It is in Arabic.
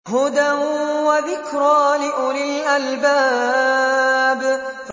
هُدًى وَذِكْرَىٰ لِأُولِي الْأَلْبَابِ